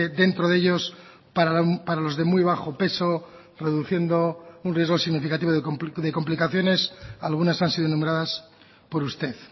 dentro de ellos para los de muy bajo peso produciendo un riesgo significativo de complicaciones algunas han sido nombradas por usted